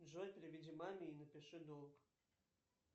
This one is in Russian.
джой переведи маме и напиши долг